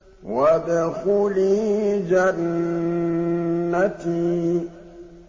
وَادْخُلِي جَنَّتِي